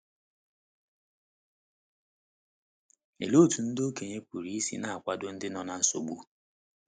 Olee otú ndị okenye pụrụ isi na - akwado ndị no na nsogbu?